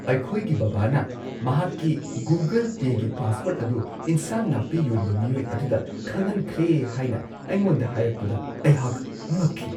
ꯑꯩꯈꯣꯏꯒꯤ ꯕꯕꯥꯅ ꯃꯍꯥꯛꯀꯤ ꯒꯨꯒꯜ ꯄꯦꯒꯤ ꯄꯥꯁꯋꯥꯔꯗ ꯑꯗꯨ ꯢꯟꯁꯥꯡ -ꯅꯥꯄꯤ ꯌꯣꯟꯕ ꯃꯤꯑꯣꯏ ꯑꯗꯨꯗ ꯈꯪꯍꯟꯈ꯭ꯔꯦ ꯍꯥꯏꯅ ꯑꯩꯉꯣꯟꯗ ꯍꯥꯏꯔꯛꯄꯗ ꯑꯩꯍꯥꯛ ꯉꯛꯈꯤ ꯫